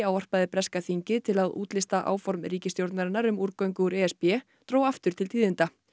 ávarpaði breska þingið til að útlista áform ríkisstjórnarinnar um úrgöngu úr e s b dró aftur til tíðinda